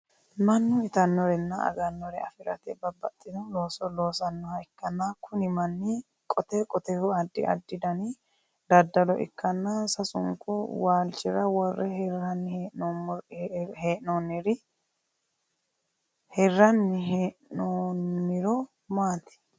Mannu itanorenna aganore afirate babbaxino looso laasanoha ikanna kunni manni qote qoteho addi addi danni dadalo ikanna sasunku waalchira wore hiranni hee'noonniro maati?